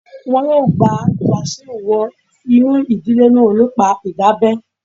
Wọn yóò gba Wasiu wọ inú ìdílé náà nípa ìdábẹ́